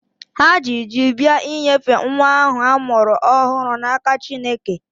Ha ji ji bịa inyefe nwa ahụ a mụrụ ọhụrụ n'aka Chineke.